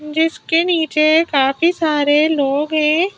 जिसके नीचे काफी सारे लोग हैं।